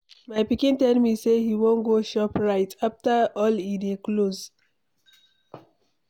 My pikin tell me say he wan go shop right, after all e dey close.